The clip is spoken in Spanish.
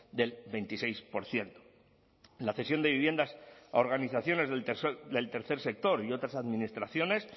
del veintiséis por ciento la cesión de viviendas a organizaciones del tercer sector y otras administraciones